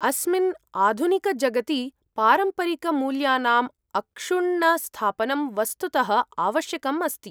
अस्मिन् आधुनिकजगति पारम्परिकमूल्यानाम् अक्षुण्णस्थापनं वस्तुतः आवश्यकम् अस्ति।